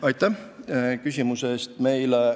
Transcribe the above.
Aitäh küsimuse eest!